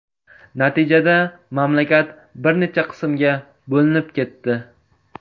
Natijada, mamlakat bir necha qismga bo‘linib ketdi.